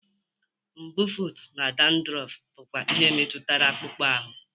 Mbufụt na dandruff bụkwa ihe metụtara akpụkpọ ahụ